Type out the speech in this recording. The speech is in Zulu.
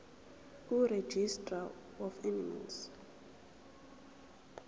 kuregistrar of animals